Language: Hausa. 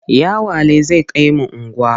Yawale zai kai mu unguwa.